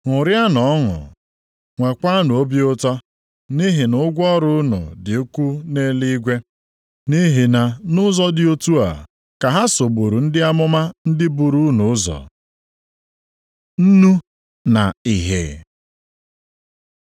Ṅụrịanụ ọnụ, nwekwanụ obi ụtọ, nʼihi na ụgwọ ọrụ unu dị ukwuu nʼeluigwe. Nʼihi na nʼụzọ dị otu a ka ha sogburu ndị amụma ndị buru unu ụzọ. Nnu na ìhè